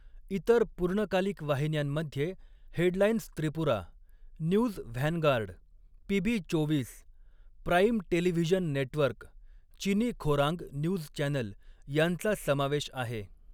इतर पूर्णकालिक वाहिन्यांमध्ये headlines Tripura, news vanguard, PB चोवीस, प्राइम टेलिव्हिजन नेटवर्क, चिनी खोरांग न्यूज चॅनेल यांचा समावेश आहे.